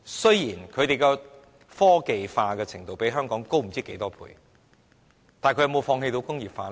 雖然他們科技化的程度較香港高不知多少倍，但他們有否放棄工業化呢？